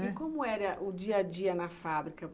E como era o dia-a-dia na fábrica?